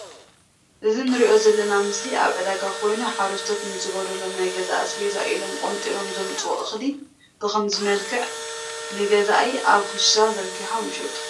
እዚ ንሪኦ ዝልና ምስሊ ኣብ ዕዳጋ ኮይኑ ሓርስቶት ንዝጎድሎም ናይ ግዛ ኣስቤዛ ኢሎም ቆንጢሮም ዝምፅእዎ እክሊ ብክምዚ ምልኽዕ ንግዛኣይ ኣብ ክሻ ዘርጊሖም ይሽጥዎ ።